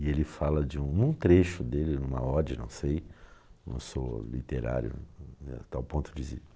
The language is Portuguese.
E ele fala de um trecho dele, em uma ode, não sei, não sou literário a tal ponto de